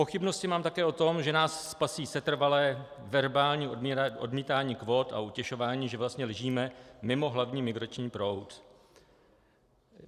Pochybnosti mám také o tom, že nás spasí setrvalé verbální odmítání kvót a utěšování, že vlastně ležíme mimo hlavní migrační proud.